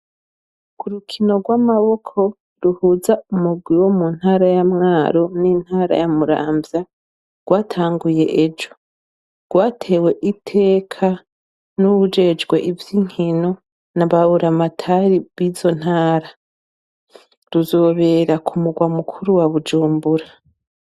Kurukino rw'amaboko ruhuza umugwi wo mu ntara yamwaro n'entara yamuramvya rwatanguye ejo rwatewe iteka n'uwujejwe ivyo inkino na bawuramatari bizo ntara ruzobera ku murwa mukuru wa Bujumbura.